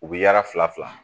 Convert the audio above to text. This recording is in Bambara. U bɛ yala fila fila